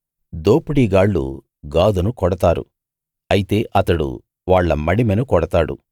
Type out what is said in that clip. దోపిడీ గాళ్ళు గాదును కొడతారు అయితే అతడు వాళ్ళ మడిమెను కొడతాడు